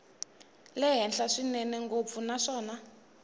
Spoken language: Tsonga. le henhla swinene ngopfu naswona